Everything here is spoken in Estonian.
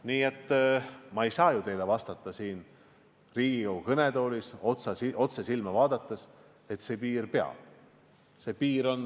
Nii et ma ei saa teile siin Riigikogu kõnetoolis otse silma vaadates kinnitada, et piir peab.